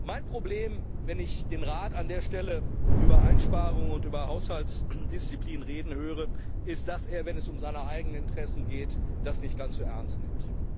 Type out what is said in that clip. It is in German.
Mein Problem, wenn ich den Rat an der Stelle über Einsparungen und über Haushaltsdisziplin reden höre, ist, dass er, wenn es um seine eigenen Interessen geht, das nicht ganz so ernst nimmt.